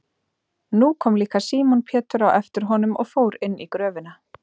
Nú kom líka Símon Pétur á eftir honum og fór inn í gröfina.